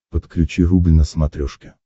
подключи рубль на смотрешке